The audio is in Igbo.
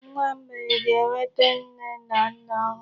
Nwa mgbei ga-enwete nne na nna ọhụrụ.